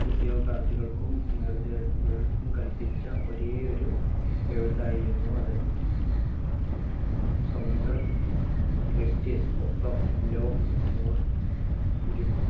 ഉദ്യോഗാർത്ഥികൾക്കും കല്പിച്ച ഒരേയൊരു എഴുത്തായിരുന്നു അത്. സ്വന്തം script ൽ ഒപ്പം ലോക്ക് നൂര്‍ ഇരു